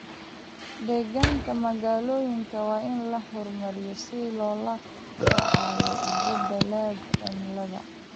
Deegaanka magaalooyinka waa in la horumariyo si loola tacaalo isbedelada cimilada.